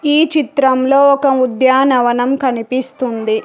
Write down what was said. ఈ చిత్రంలో ఒక ఉద్యానవనం కనిపిస్తుంది.